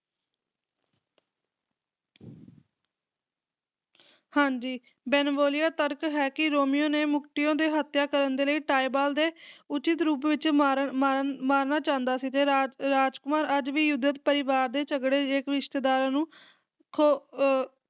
ਹਾਂਜੀ ਬੇਨਵੋਲੀਓ ਤਰਕ ਹੈ ਕਿ ਰੋਮੀਓ ਨੇ ਮਰਕੁਟੀਓ ਦੇ ਹੱਤਿਆ ਕਰਨ ਦੇ ਲਈ ਟਾਈਬਾਲਟ ਦੇ ਉੱਚਿਤ ਰੂਪ ਵਿੱਚ ਮਾਰਨ ਮਾਰਨ ਮਾਰਨਾ ਚਾਹੁੰਦਾ ਸੀ ਤੇ ਰਾਜ ਰਾਜਕੁਮਾਰ ਅੱਜ ਵੀ ਪਰਿਵਾਰ ਦੇ ਝਗੜੇ ਦੇ ਵਿੱਚ ਇੱਕ ਰਿਸ਼ਤੇਦਾਰਾ ਖੋ ਅਹ